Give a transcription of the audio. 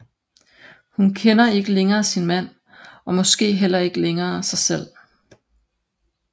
Hun kender ikke længere sin mand og måske heller ikke længere sig selv